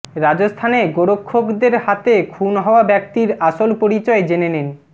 রাজস্থানে গোরক্ষকদের হাতে খুন হওয়া ব্যক্তির আসল পরিচয় জেনে নিন